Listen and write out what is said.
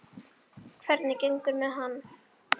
Hvernig gengur með hann?